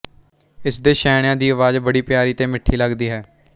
ਇਸ ਦੇ ਛੈਣਿਆਂ ਦੀ ਆਵਾਜ਼ ਬੜੀ ਪੀਆਰੀ ਤੇ ਮਿੱਠੀ ਲੱਗਦੀ ਹੈ